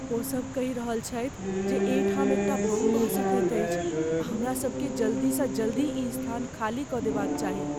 ओसभ कहि रहल छथि जे एहि ठाम एक टा बम भऽ सकैत अछि आ हमरा सभकेँ जल्दीसँ जल्दी ई स्थान खाली कऽ देबाक चाही।